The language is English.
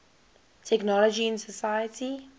technology in society